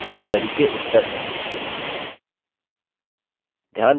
यह आपकी query के उत्तर हैं